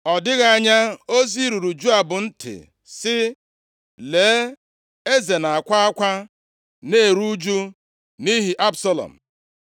Ọ dịghị anya ozi ruru Joab ntị sị, “Lee, eze na-akwa akwa, na-eru ụjụ nʼihi Absalọm.”